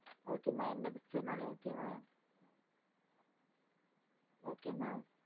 mam எந்த picture நாளும் okay தா mam